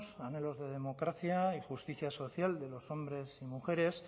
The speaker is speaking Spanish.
anhelos de democracia y justicia social de los hombres y mujeres